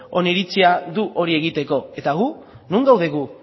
oniritzia du hori egiteko eta gu non gaude gu